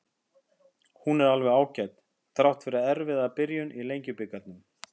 Hún er alveg ágæt, þrátt fyrir erfiða byrjun í Lengjubikarnum.